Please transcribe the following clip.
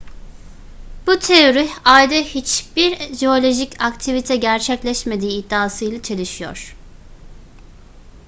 bu teori ayda hiçbir jeolojik aktivite gerçekleşmediği iddiasıyla çelişiyor